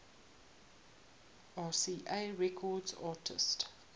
rca records artists